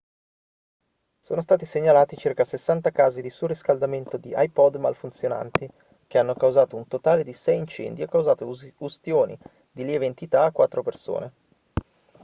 sono stati segnalati circa 60 casi di surriscaldamento di ipod malfunzionanti che hanno causato un totale di sei incendi e causato ustioni di lieve entità a quattro persone